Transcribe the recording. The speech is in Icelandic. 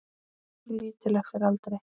Lítill eftir aldri.